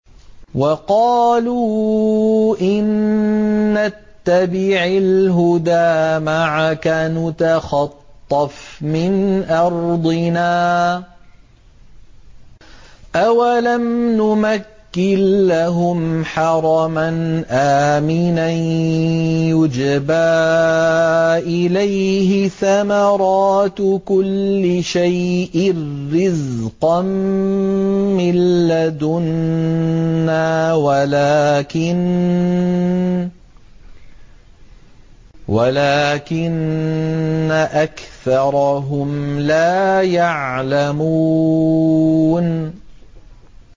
وَقَالُوا إِن نَّتَّبِعِ الْهُدَىٰ مَعَكَ نُتَخَطَّفْ مِنْ أَرْضِنَا ۚ أَوَلَمْ نُمَكِّن لَّهُمْ حَرَمًا آمِنًا يُجْبَىٰ إِلَيْهِ ثَمَرَاتُ كُلِّ شَيْءٍ رِّزْقًا مِّن لَّدُنَّا وَلَٰكِنَّ أَكْثَرَهُمْ لَا يَعْلَمُونَ